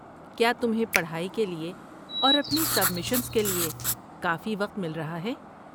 کیا تمہیں پڑھائی کے لیے اور اپنی سبمیشنز کے لیے کافی وقت مل رہا ہے؟